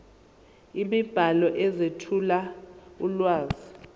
imibhalo ezethula ulwazi